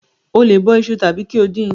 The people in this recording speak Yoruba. O lè bọ iṣu tàbí kí o dín in.